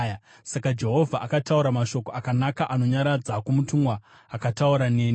Saka Jehovha akataura mashoko akanaka anonyaradza kumutumwa akataura neni.